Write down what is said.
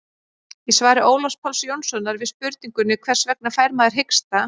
í svari ólafs páls jónssonar við spurningunni hvers vegna fær maður hiksta